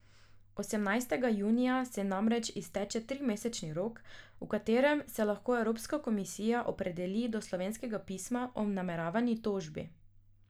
Osemnajstega junija se namreč izteče trimesečni rok, v katerem se lahko evropska komisija opredeli do slovenskega pisma o nameravani tožbi.